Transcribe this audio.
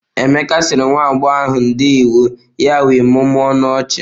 Emeka sịrị nwa agbọghọ ahụ ndeewọ ya wee mụmụọ ọnụ ọchị.